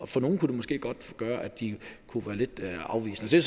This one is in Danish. for nogle kunne det måske godt gøre at de kunne være lidt afvisende det